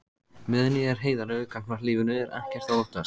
Meðan ég er heiðarlegur gagnvart lífinu er ekkert að óttast.